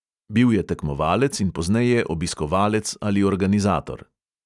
Bil je tekmovalec in pozneje obiskovalec ali organizator.